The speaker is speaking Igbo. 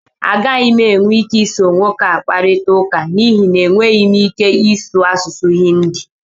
Agaghị m enwe ike iso nwoke ahụ kparịta ụka n'ihi na enweghị m ike ịsụ asụsụ Hindi